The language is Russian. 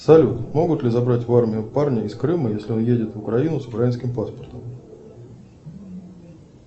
салют могут ли забрать в армию парня из крыма если он едет в украину с украинским паспортом